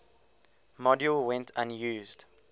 module went unused